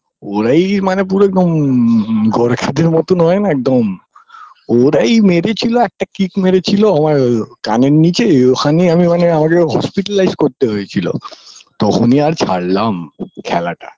ওরাই মানে পুরো একদম গোর্খাদের মতো হয়না একদম ওরাই মেরে ছিল একটা kick মেরেছিল আমার কানের নিচে অখানেই আমি মানে আমাকে hospitalized করতে হয়েচিল তখনি আর ছাড়লাম খেলাটা